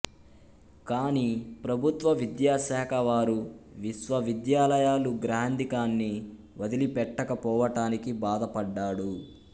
కాని ప్రభుత్వ విద్యాశాఖవారు విశ్వవిద్యాలయాలు గ్రాంథికాన్ని వదిలిపెట్టక పోవటానికి బాధపడ్డాడు